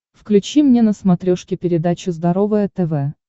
включи мне на смотрешке передачу здоровое тв